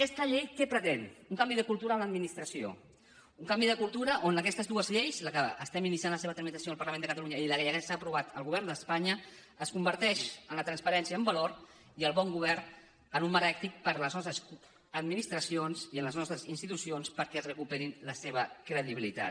aquesta llei què pretén un canvi de cultura en l’administració un canvi de cultura on aquestes dues lleis la que estem iniciant la seva tramitació en el parlament de catalunya i la que ja s’ha aprovat al govern d’espanya es converteix la transparència en valor i el bon govern en un marc ètic per a les nostres administracions i les nostres institucions perquè recuperin la seva credibilitat